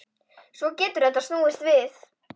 Svo getur þetta snúist við.